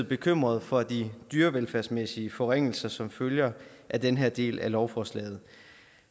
bekymret for de dyrevelfærdsmæssige forringelser som følger af den her del af lovforslaget